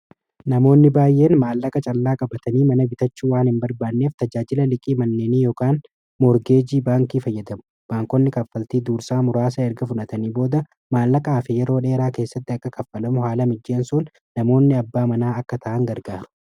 Namoonni baay'een maallaqa caalaa qabatanii mana bitachu waan hin barbaanneef tajaajila dhiqii manneenii yokan moorgeejii baankii fayyadamu baankonni kaffaltii duursaa muraasa erga fudatanii booda maallaqa aafe yeroo dheeraa keessatti akka kaffalamu haala mijjeensuun namoonni abbaa manaa akka ta'an gargaaru.